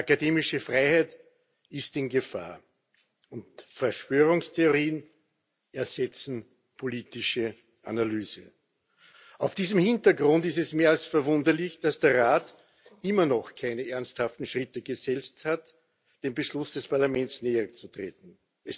Die akademische Freiheit ist in Gefahr, und Verschwörungstheorien ersetzen politische Analyse. Vor diesem Hintergrund ist es mehr als verwunderlich, dass der Rat immer noch keine ernsthaften Schritte gesetzt hat, dem Beschluss des Parlaments näher zu kommen.